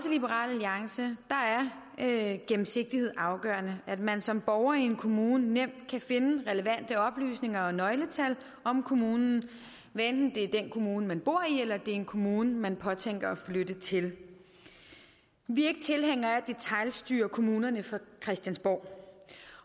liberal alliance er gennemsigtighed afgørende at man som borger i en kommune nemt kan finde relevante oplysninger og nøgletal om kommunen hvad enten det er den kommune man bor i eller om det er en kommune man påtænker at flytte til vi er ikke tilhængere af at detailstyre kommunerne fra christiansborg